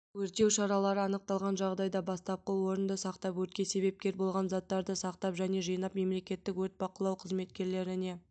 өртеу шаралары анықталған жағдайда бастапқы орынды сақтап өртке себепкер болған заттарды сақтап және жинап мемлекеттік өрт бақылау қызметкерлеріне